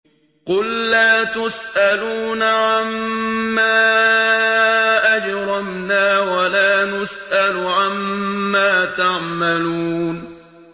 قُل لَّا تُسْأَلُونَ عَمَّا أَجْرَمْنَا وَلَا نُسْأَلُ عَمَّا تَعْمَلُونَ